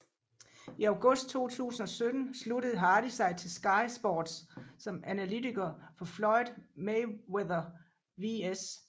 I august 2017 sluttede Hardy sig til Sky Sports som analytiker for Floyd Mayweather vs